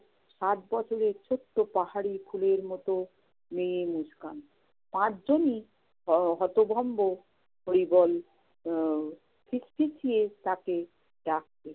সাত বছরের ছোট্ট পাহাড়ি ফুলের মতো মেয়ে মুস্কান। পাঁচজনই হ~ হতভম্ব। হরিবল আহ ফিসফিসিয়ে তাকে ডাকছে।